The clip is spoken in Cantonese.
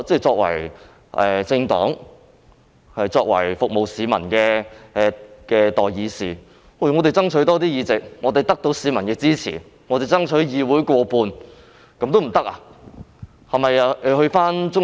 作為政黨及服務市民的代議士，我們既然獲得市民的支持，難道不可以爭取議會內過半數議席嗎？